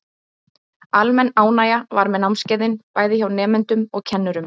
Almenn ánægja var með námskeiðin, bæði hjá nemendum og kennurum.